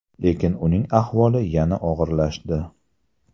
Lekin uning ahvoli yana og‘irlashdi.